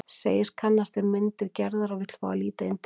Segist kannast við myndir Gerðar og vill fá að líta inn til hennar.